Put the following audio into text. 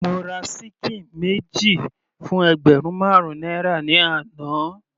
Mo ra ṣíkìn méjì fún ẹgbẹ̀rún marun náírà ni àná.